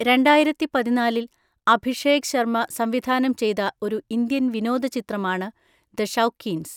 രണ്ടായിരത്തിപതിനാലിൽ അഭിഷേക് ശർമ്മ സംവിധാനം ചെയ്ത ഒരു ഇന്ത്യൻ വിനോദചിത്രമാണ് ദ ഷൗക്കീൻസ്.